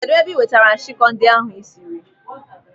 Kedụ ebe ị nwetara nshikọ ndị ahụ ịsịrị?